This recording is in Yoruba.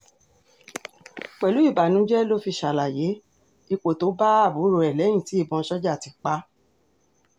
pẹ̀lú ìbànújẹ́ ló fi ṣàlàyé ipò tó bá àbúrò ẹ̀ lẹ́yìn tí ìbọn sójà ti pa á